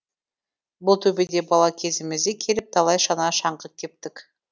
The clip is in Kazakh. бұл төбеде бала кезімізде келіп талай шана шаңғы тептік